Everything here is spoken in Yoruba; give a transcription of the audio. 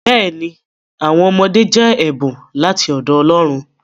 Bẹẹni, awọn ọmọde jẹ ẹbun lati ọdọ Ọlọ́run.